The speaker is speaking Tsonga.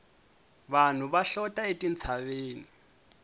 vanhu va hlota etintshaveni